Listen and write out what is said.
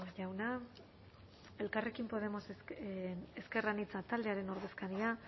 jauna elkarrekin podemos ezker anitza taldearen ordezkaria